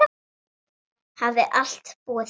Hafði alltaf búið þar.